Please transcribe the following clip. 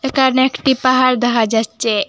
এখানে একটি পাহাড় দেহা যাচ্ছে।